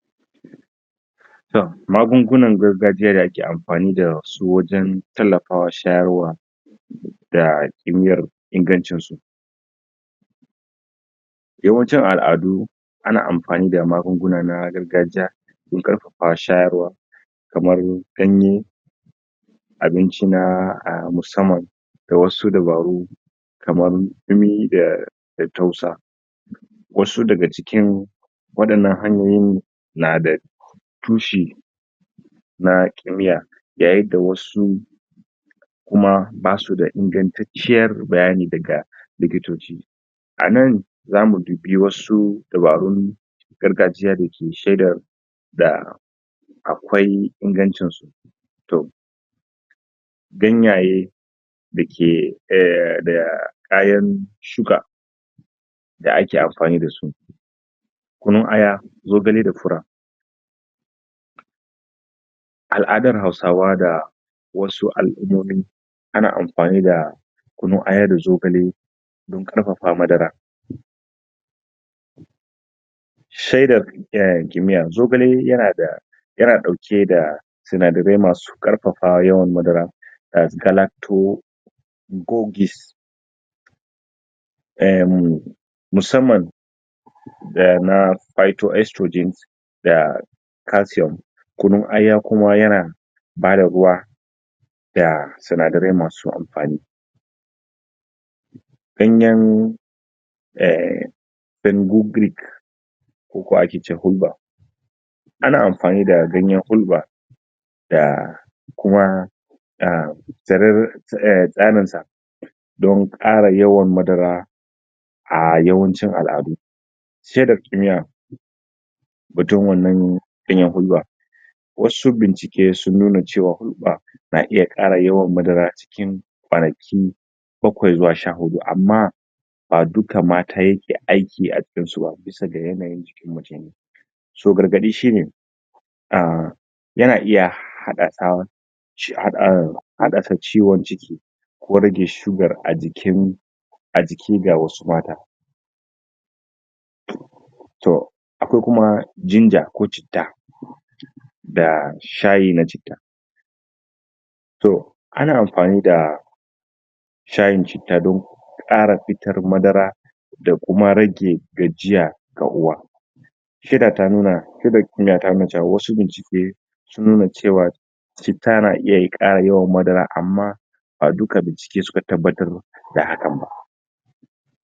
Magungunan gargajiya da ake amfani dasu wajen tallafawa wa shayarwa da bibiyar ingancin su. Yawancin al'adu ana amfani da magunguna ne na gargajiya don karfafa shayarwa, kamar ganye, abinci na musamman da wasu dabaru kamar dumi da tausa Wasu daga cikin wandana hanyoyin nada toshi na kimiya, yayin da wasu kuma basu da dagan ciyar bayani duka likitoci. A nan zamu boyo su dabarun gargajiya dake shaidar da akwai ingancin su.. Ganyayyaki dake da kayan sugar da ake anfani da su kamar kunun Aya, Zogale da fura.; Al'adar hausawa da wasu al'umomi ana amfani da kunun aya da zogale domin karfafa Madara Shaidar kimiya; Zogale yana da sinadarai masu karfafa yawan madara kamar calacto gogis ah mu musamman na phyto estrogen da calcium, kunun Aya Kuma yana bada ruwa da sinadarai masu amfani. Ganyen en pengogric ko hulba ana amfani da ganyen hulba da Kuma tsirran sa don kara yawan madara a yawancin al'adu. Shaidar kimiya hutu wanna daya hulba wasu bincike sun nuna cewa hulba na iya kara yawan madara a cikin kwanaki bakwai zuwa sha-hudu, amma ba duka mata yake aiki a jikinsu ba, saboda bambancin yanayin jiki. gargadi shine yana iya haddasa haddasa ciwon ciki ko rage sugar a jiki ga wasu matan. hmm toh ko kuma Jinja/citta ga Shayi na cita toh: ana amfani da Shayi na Chitta da kara fitar Madara da kuma rage gajiya ga Uwa Shaidar kimiya da kuma wasu bincike sun nuna cewa citta nan iya kara yawan madara, amma ba duka bincike suka tabbatar da hakan ba